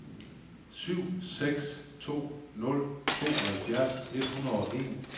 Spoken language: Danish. syv seks to nul tooghalvfjerds et hundrede og en